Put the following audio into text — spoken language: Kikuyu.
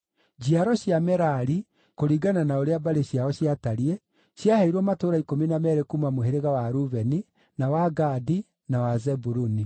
Njiaro cia Merari, kũringana na ũrĩa mbarĩ ciao ciatariĩ, ciaheirwo matũũra ikũmi na meerĩ kuuma mũhĩrĩga wa Rubeni, na wa Gadi, na wa Zebuluni.